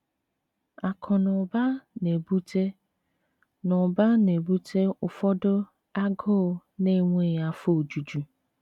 Akụ na ụba na-ebute na ụba na-ebute ụfọdụ agụụ na-enweghị afọ ojuju.